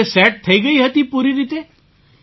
તો તે સેટ થઈ ગઈ હતી પૂરી રીતે